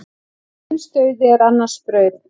Eins dauði er annars brauð.